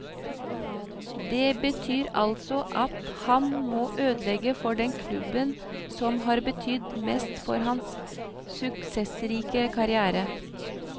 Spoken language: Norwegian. Det betyr altså at han må ødelegge for den klubben som har betydd mest for hans suksessrike karriere.